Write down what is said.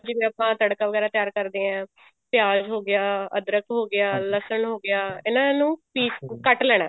ਜਿਵੇਂ ਆਪਾਂ ਤੜਕਾ ਵਗੈਰਾ ਤਿਆਰ ਕਰਦੇ ਹਾਂ ਪਿਆਜ ਹੋਗਿਆ ਅਧਰਕ ਹੋਗਿਆ ਲਸਣ ਹੋਗਿਆ ਇਹਨਾ ਨੂੰ ਪਿਸ ਕੱਟ ਲੈਣਾ